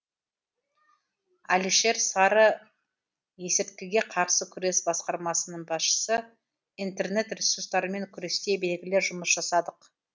әлішер сары есірткіге қарсы күрес басқармасының басшысы интернет ресурстармен күресте белгілі жұмыс жасадық